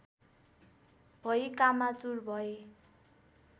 भई कामातुर भए